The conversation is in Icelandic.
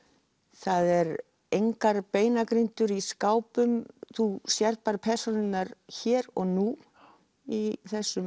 það eru engar beinagrindur í skápum þú sérð bara persónurnar hér og nú í þessum